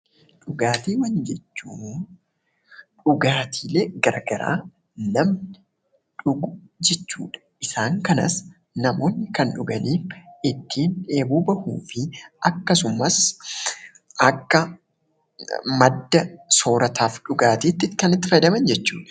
Dhugaatiiwwan jechuun dhugaatiilee garaagaraa namni dhugu jechuudha. Isaan kanas namoonni kan dhugan, ittiin dheebuu bahuu fi akkasumas akka madda soorataa fi dhugaatiitti kan itti fayyadaman jechuudha.